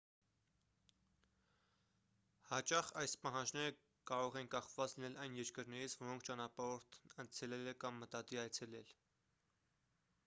հաճախ այս պահանջները կարող են կախված լինել այն երկրներից որոնք ճանապարհորդն այցելել է կամ մտադիր է այցելել